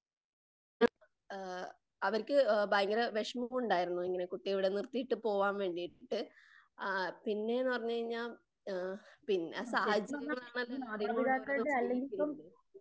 ആ അവർക്ക് ഭയങ്കര വെഷമമുണ്ടായിരുന്നു കുട്ടീനെ ഇവിടെ നിർത്തീട്ട് പോവാൻ വേണ്ടീട്ട്. ആ പിന്നെന്ന് പറഞ്ഞു കഴിഞ്ഞാൽ ആ പിന്നെ സാഹചര്യമാണല്ലോ എല്ലാവരെയും കൊണ്ട് ഓരോന്നു ചെയ്യ്ക്കുന്നത്‌.